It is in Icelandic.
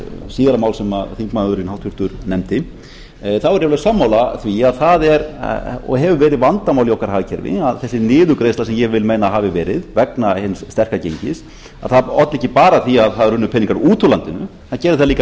síðara mál sem háttvirtur þingmaður nefndi þá er ég alveg sammála því að það er og hefur verið vandamál í okkar hagkerfi að þessi niðurgreiðsla sem ég vil meina að hafi verið vegna hins sterka gengis olli ekki bara því að það runnu peningar út úr landinu það gerði það líka